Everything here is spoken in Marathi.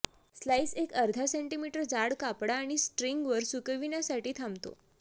स्लाइस एक अर्धा सेंटीमीटर जाड कापडा आणि स्ट्रिंगवर सुकविण्यासाठी थांबतो